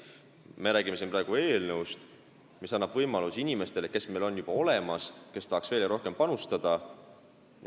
Me räägime siin praegu eelnõust, mis annab võimaluse neile inimestele, kes meil on juba olemas ja kes tahaksid veel rohkem panustada.